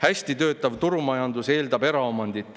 Hästi töötav turumajandus eeldab eraomandit.